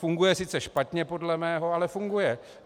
Funguje sice špatně podle mého, ale funguje.